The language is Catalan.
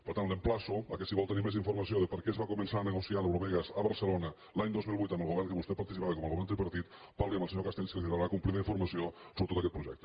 per tant l’emplaço que si vol tenir més informació de per què es va començar a negociar l’eurovegas a barcelona l’any dos mil vuit amb el govern en què vostè participava com a govern tripartit parli amb el senyor castells que li donarà complida informació sobre tot aquest projecte